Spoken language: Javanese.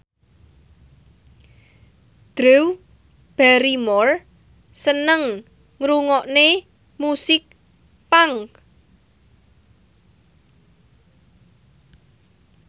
Drew Barrymore seneng ngrungokne musik punk